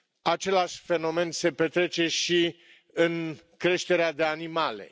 Același fenomen se petrece și în creșterea de animale.